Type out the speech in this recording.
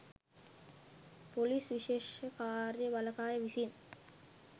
police විශේෂ කාර්ය බළකාය විසින්